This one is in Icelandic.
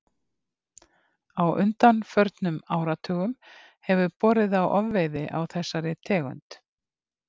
Á undanförnum áratugum hefur borið á ofveiði á þessari tegund.